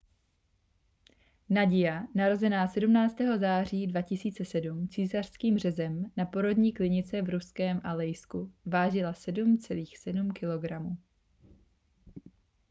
nadia narozená 17. září 2007 císařským řezem na porodní klinice v ruském alejsku vážila 7,7 kg